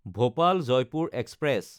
Bhopal-Jaipur express